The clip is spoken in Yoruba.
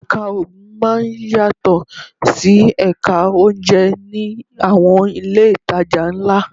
Ẹ̀ka Oògùn máa ń yàtọ̀ sí Ẹ̀ka oúnjẹ ní àwọn ilé ìtajà ńlá